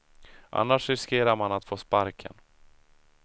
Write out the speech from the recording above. Annars riskerar man att få sparken.